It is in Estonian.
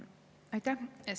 Aitäh!